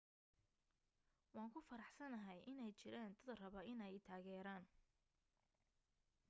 waan ku faraxsanahay inay jiraan dad raba inay i taageeraan